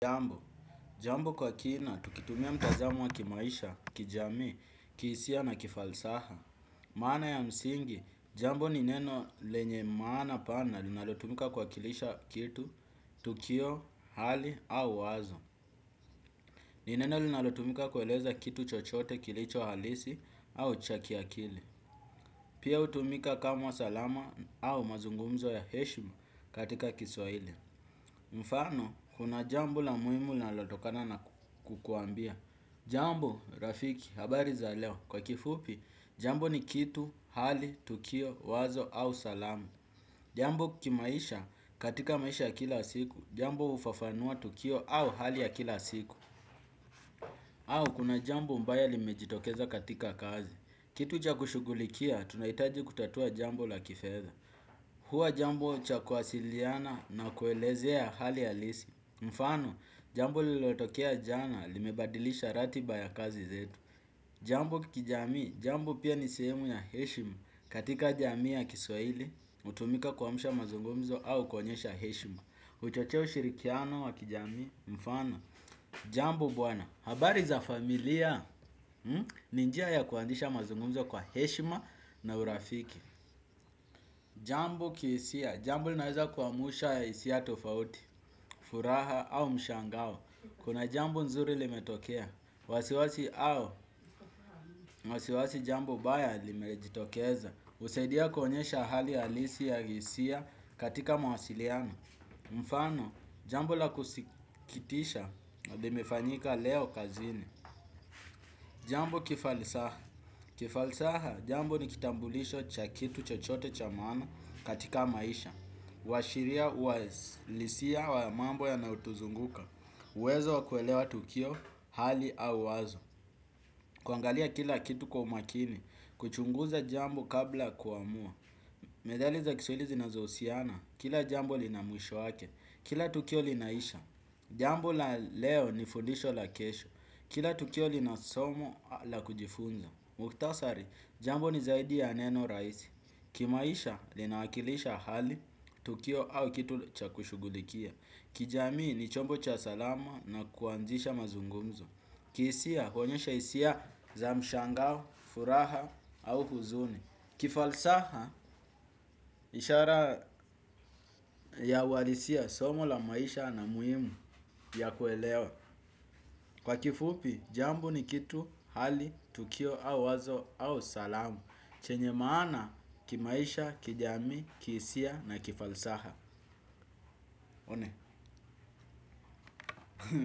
Jambo kwa kina, tukitumia mtazamo wa kimaisha, kijamii, kihisia na kifalsaha. Maana ya msingi, jambo ni neno lenye maana pana linalotumika kuwakilisha kitu, tukio, hali au wazo. Ni neno linalotumika kueleza kitu chochote kilicho halisi au cha kiakili. Pia hutumika kama salama au mazungumzo ya heshimu katika kiswahili. Mfano, kuna jambo la muhimu linalotokana na kukuambia. Jambo rafiki? Habari za leo? Kwa kifupi jambo ni kitu, hali, tukio, wazo au salamu. Jambo kimaisha katika maisha ya kila siku jambo hufafanua tukio au hali ya kila siku. Au kuna jambo mbaya limejitokeza katika kazi. Kitu cha kushughulikia tunahitaji kutatua jambo la kifedha. Hua jambo cha kuwasiliana na kuelezea hali halisi. Mfano jambo lililotokea jana limebadilisha ratiba ya kazi zetu. Jambo kijami, jambo pia ni sehemu ya heshima. Katika jamii ya kiswahili, hutumika kuamsha mazungumzo au kuonyesha heshima. Huchochea ushirikiano wa kijamii, mfano jambo bwana, habari za familia? Ni njia ya kuanzisha mazungumzo kwa heshima na urafiki. Jambo kihisia, jambo linaweza kuamsha hisia tofauti, furaha au mshangao. Kuna jambo nzuri limetokea, wasiwasi au, wasiwasi jambo baya limejitokeza husaidia kuonyesha hali alisi ya hisia katika mawasiliano. Mfano, jambo la kusikitisha limefanyika leo kazini. Jambo kifalisaha, kifalisaha jambo ni kitambulisho cha kitu chochote cha maana katika maisha. Huwashiria ualisia wa mambo yanayotuzunguka, uwezo wa kuelewa tukio, hali au wazo. Kuangalia kila kitu kwa makini, kuchunguza jambo kabla kuamua. Methali za kiswahili zinazhusiana, kila jambo lina mwisho wake. Kila tukio linaisha, jambo la leo ni fundisho la kesho. Kila tukio lina somo la kujifunza. Mukhtasari, jambo ni zaidi ya neno rahisi. Kimaisha linaakilisha hali, tukio au kitu cha kushughulikia. Kijamii ni chombo cha salama na kuanzisha mazungumzo. Kihisia huonyesha hisia za mshangao, furaha au huzuni. Kifalsaha ishara ya uwalisia somo la maisha na muhimu ya kuelewa. Kwa kifupi, jambo ni kitu hali, tukio au wazo au salama. Chenye maana kimaisha, kijamii, kihisia na kifalsaha.